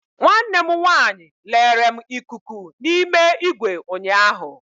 Nwanne m nwanyị lere m ikuku n'ime igwe ụnyaahụ.